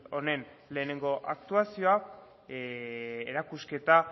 honen lehenengo aktuazioa erakusketa